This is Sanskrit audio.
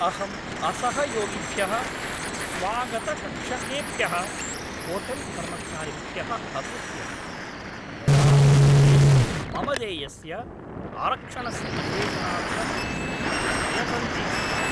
अहं असहयोगिभ्यः स्वागतकक्षकेभ्यः होटेल्कर्मचारिभ्यः अकुप्यं, यदा ते मम देयस्य आरक्षणस्य अन्वेषणार्थं न प्रयतन्ते स्म।